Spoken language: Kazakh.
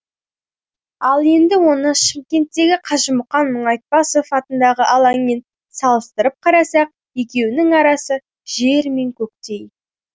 ал енді оны шымкенттегі қажымұқан мұңайтпасов атындағы алаңмен салыстырып қарасақ екеуінің арасы жер мен көктей